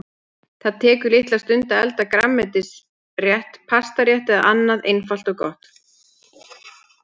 Það tekur litla stund að elda grænmetisrétt, pastarétt eða annað einfalt og gott.